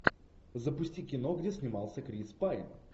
запусти кино где снимался крис пайн